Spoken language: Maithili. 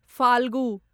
फाल्गु